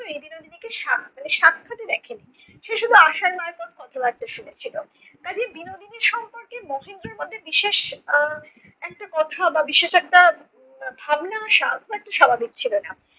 বিনোদিনীকে স্বাক্ষরে~ মানে সাক্ষাতে দেখেনি সে শুধু আশার মারফত কথাবার্তা শুনেছিল। কাজেই বিনোদিনীর সম্পর্কে মহেন্দ্রর মধ্যে বিশেষ আহ একটা কথা বা বিশেষ একটা আহ ভাবনা আসা খুব একটা স্বাভাবিক ছিল না।